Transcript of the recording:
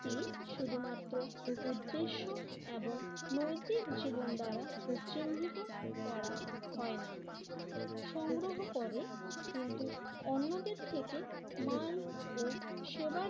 ক্তি শুধুমাত্র উদ্দেশ্য এবং নৈতিক জীবন দ্বারা চিহ্নিত করা হয় না। সংগ্রহ করে কিন্তু অন্যদের থেকে মাল ও সেবার